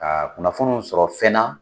Ka kunnafoniw sɔrɔ fɛn na